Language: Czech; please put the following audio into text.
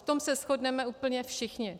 V tom se shodneme úplně všichni.